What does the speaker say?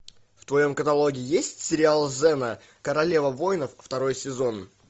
в твоем каталоге есть сериал зена королева воинов второй сезон